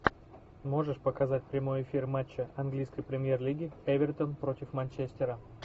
можешь показать прямой эфир матча английской премьер лиги эвертон против манчестера